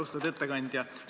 Austatud ettekandja!